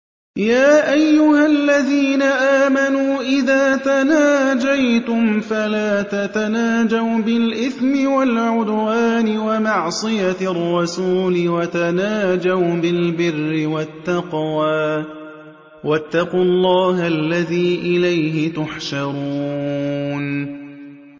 يَا أَيُّهَا الَّذِينَ آمَنُوا إِذَا تَنَاجَيْتُمْ فَلَا تَتَنَاجَوْا بِالْإِثْمِ وَالْعُدْوَانِ وَمَعْصِيَتِ الرَّسُولِ وَتَنَاجَوْا بِالْبِرِّ وَالتَّقْوَىٰ ۖ وَاتَّقُوا اللَّهَ الَّذِي إِلَيْهِ تُحْشَرُونَ